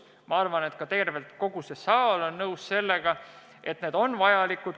Ma arvan, et ka kogu see saal on nõus, et need ettepanekud on head.